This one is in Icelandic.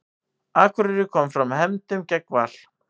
Akureyri kom fram hefndum gegn Val